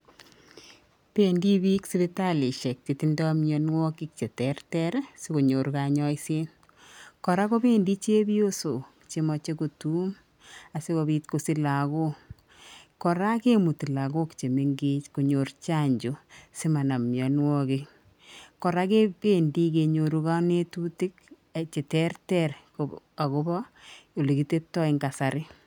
Pendi pik sipitalishek chetindoi myonwokik che terter sikonyor kanyoisiet, kora kopendi chepiosok chemache kotuum asikopiit kosich lagok, kora kemuti lagok chemengech konyor chanjo si manam myonwokik, kora kependi kenyoru kamnyetutik che terter akopa ole kiteptoi eng kasari